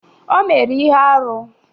O mere ihe arụ